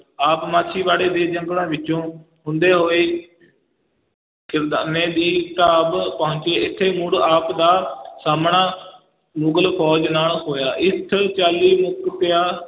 ਆਪ ਮਾਛੀਵਾੜੇ ਦੇ ਜੰਗਲਾਂ ਵਿੱਚੋਂ ਹੁੰਦੇ ਹੋਏ ਖਿਦਰਾਨੇ ਦੀ ਢਾਬ ਪਹੁੰਚੇ, ਇੱਥੇ ਮੁੜ ਆਪ ਦਾ ਸਾਹਮਣਾ ਮੁਗਲ ਫ਼ੌਜ ਨਾਲ ਹੋਇਆ, ਇਸ ਚਾਲੀ ਮੁਕਤਿਆਂ